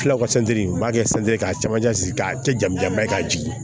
Filaw ka u b'a kɛ ka camancɛ sigi k'a kɛ jamujanba ye k'a jigin